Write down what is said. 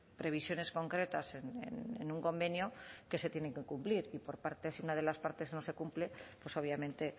previsiones concretas en un convenio que se tienen que cumplir y por partes si una de las partes no se cumple pues obviamente